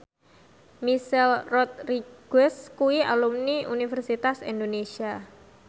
Michelle Rodriguez kuwi alumni Universitas Indonesia